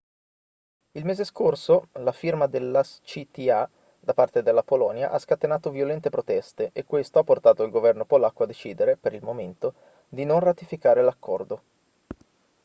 il mese scorso la firma dell'acta da parte della polonia ha scatenato violente proteste e questo ha portato il governo polacco a decidere per il momento di non ratificare l'accordo